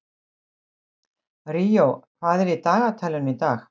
Ríó, hvað er í dagatalinu í dag?